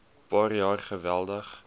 paar jaar geweldig